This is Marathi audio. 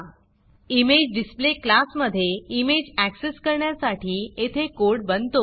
imagedisplayइमेजडिसप्ले क्लासमधे इमेज ऍक्सेस करण्यासाठी येथे कोड बनतो